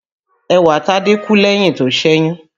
Ẹwàtádé kú lẹ́yìn tó ṣẹ̀yún